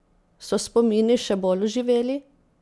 So spomini še bolj oživeli?